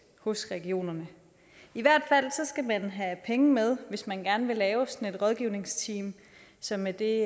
hos regionerne i hvert fald skal man have penge med hvis man gerne vil lave sådan et rådgivningsteam som er det